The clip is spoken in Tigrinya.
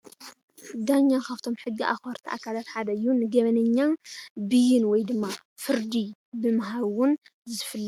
ዳኛ ካብቶም ሕጊ ኣክበርቲ ኣካላተ ሓደ እዩ፡፡ ንገበነኛ ብይን ወይድማ ፍርዲ ብምሃብ ዝፍለጥ እዩ፡፡